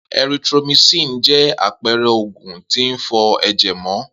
Erythromycin jẹ́ àpẹrẹ oògùn tí ń fọ ẹ̀jẹ̀ mọ